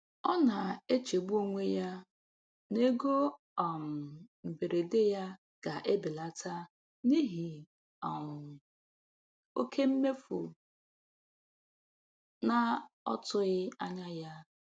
Ọ na-echegbu onwe ya n'ego um mberede ya ga-ebelata n'ihi um oke mmefu na ọ tụghị anya ya.